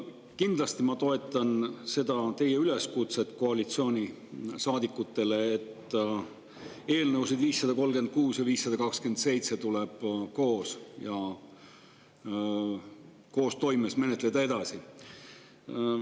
Kindlasti ma toetan teie üleskutset koalitsioonisaadikutele, et eelnõusid 536 ja 527 tuleb koos ja koostoimes edasi menetleda.